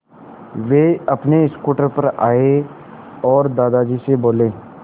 वे अपने स्कूटर पर आए और दादाजी से बोले